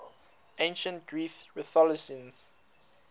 ancient greek rhetoricians